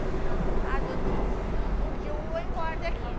Ah, doutor, um dia eu vou embora daqui.